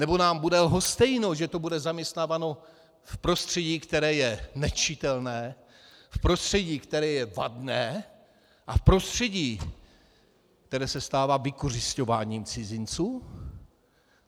Nebo nám bude lhostejné, že tu bude zaměstnáváno v prostředí, které je nečitelné, v prostředí, které je vadné, a v prostředí, které se stává vykořisťováním cizinců?